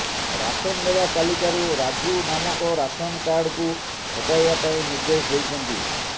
ration ନେବା ତାଲିକାରୁ ରାଜୁ ନାମକ ରାସନ୍ କାର୍ଡକୁ ହଟାଇବା ପାଇଁ ନିର୍ଦ୍ଦେଶ ଦେଇଛନ୍ତି